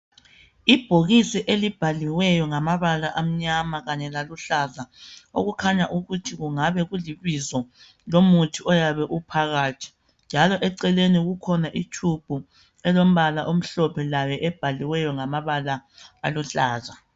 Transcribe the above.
Ibhokisi elibhaliweyo ngamabala amnyama kanye laluhlaza okukhanya ukuthi kungabe kulibizo lomuthi oyabe uphakathi. Njalo eceleni kukhona itshubhu elombala omhlophe layo ebhaliweyo ngamabala aluhlaza.